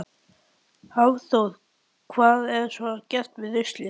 Hafþór: Hvað er svo gert við ruslið?